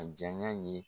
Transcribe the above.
A jaya ye